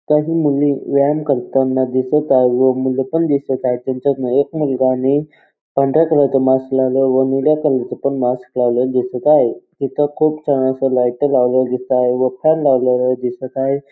काही मुली व्यायाम करताना दिसत आहे व मूल पण दिसत आहेत त्यांच्यातन एक मुलगाने पांढऱ्या कलर च मास्क लावल आणि निळ्या कलर चा पण मास्क लावलं दिसत आहे तीथे खूप छान असं लाईट लावलेलं दिसता आहे व फॅन लावलेला दिसत आहे.